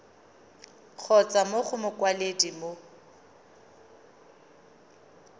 kgotsa mo go mokwaledi mo